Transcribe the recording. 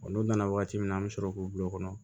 n'u nana waati min na an mi sɔrɔ k'u bila u kɔnɔ